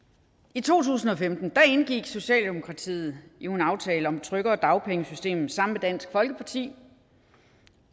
i to tusind og femten indgik socialdemokratiet jo en aftale om et tryggere dagpengesystem sammen dansk folkeparti